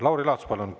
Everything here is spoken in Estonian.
Lauri Laats, palun!